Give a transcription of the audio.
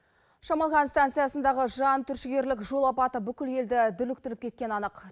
шамалған станциясындағы жантүршігерлік жол апаты бүкіл елді дүрліктіріп кеткені анық